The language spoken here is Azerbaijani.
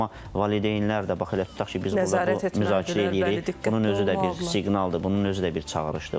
Amma valideynlər də, bax elə tutaq ki, biz burda müzakirə eləyirik, bunun özü də bir siqnaldır, bunun özü də bir çağırışdır.